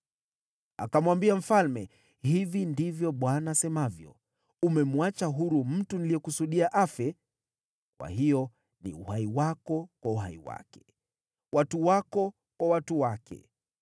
Akamwambia mfalme, “Hivi ndivyo Bwana asemavyo: ‘Umemwacha huru mtu niliyekusudia afe. Kwa hiyo ni uhai wako kwa uhai wake, watu wako kwa watu wake.’ ”